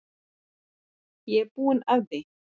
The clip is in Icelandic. Ég er búin að því.